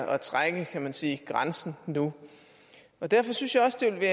at trække kan man sige grænsen nu derfor synes jeg også det vil